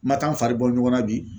Ma taa an fari bɔ ɲɔgɔnna bi